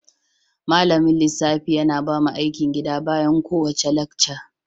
Malamin lissafi yana bamu aikin gida bayan kowace lacca.